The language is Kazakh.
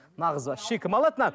мына қызды вообще кім алады